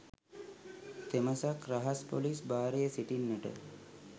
තෙමසක් රහස් පොලිස් භාරයේ සිටින්නට